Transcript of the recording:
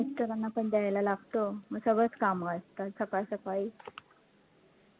mister ना पण द्यायला लागतं, मग सगळचं काम असतात सकाळ सकाळी